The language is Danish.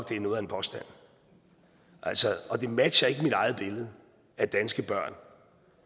det er noget af en påstand og det matcher ikke mit eget billede af danske børn